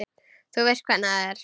Þú veist hvernig það er.